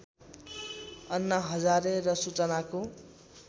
अन्ना हजारे र सूचनाको